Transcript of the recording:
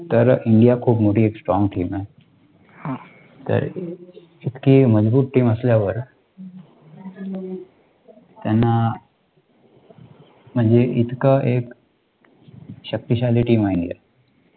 तर, इतकी मजबूत TEAM असल्यावर, त्यांना, म्हणजे इतकं एक शक्तिशाली TEAM आहे ही